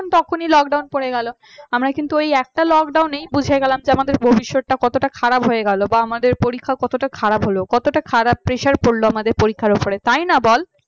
তখনই lockdown পড়ে গেল আমরা কিন্তু ওই একটা lockdown বুঝে গেলাম যে আমাদের ভবিষ্যৎ টা কতটা খারাপ হয়ে গেল বা আমাদের পরীক্ষাটা কতটা খারাপ হলো। কতটা খারাপ পেশার পরলো আমাদের পরীক্ষার উপরে তাই না বল